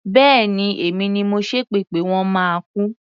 Bẹ́ẹ̀ni, èmi ni mo ṣépè pé wọ́n máa kú.